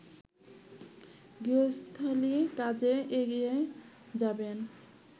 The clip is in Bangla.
গৃহস্থালি কাজে এগিয়ে যাবেন